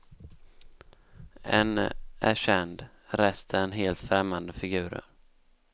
En är känd, resten helt främmande figurer.